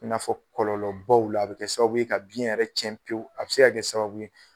I n'afɔ kɔlɔlɔbaw la, a bɛ kɛ sababu ye ka biyɛn yɛrɛ cɛn pewu, a bɛ se ka kɛ sababu ye